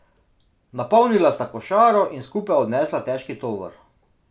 Napolnila sta košaro in skupaj odnesla težki tovor.